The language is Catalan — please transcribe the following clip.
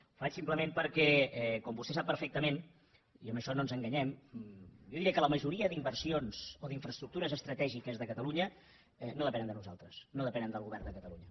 ho faig simplement perquè com vostè sap perfectament i en això no ens enganyem jo diria que la majoria d’inversions o d’infraestructures estratègiques de catalunya no depenen de nosaltres no depenen del govern de catalunya